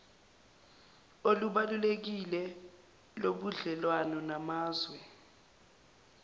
olubalulekile lobudlelwane namazwe